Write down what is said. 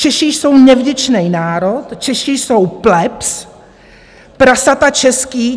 Češi jsou nevděčný národ, Češi jsou plebs, prasata český.